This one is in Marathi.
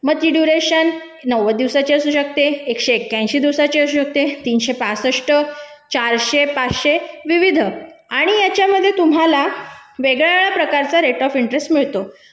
नव्वद दिवसाची असू शकते एकशे एक ऐंशी दिवसाची असू शकते तीनशे पासष्ट, चारशे, पाचशे विविध आणि याच्यामध्ये तुम्हाला वेगळ्या प्रकारचा रेट ऑफ इंटरेस्ट मिळतो